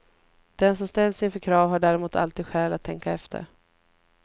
Den som ställs inför krav har däremot alltid skäl att tänka efter.